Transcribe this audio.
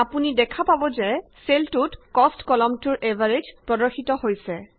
আপুনি দেখা পাব যে চেলটোত কষ্ট কলমটোৰ এভাৰেজ প্ৰদৰ্শিত হৈছে